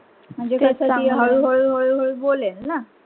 म्हणजे ती आता हळू- हळू, हळू - हळू बोलेल ना.